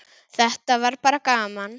Þetta var bara gaman.